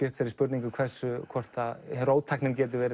upp þeirri spurningu hvort róttæknin geti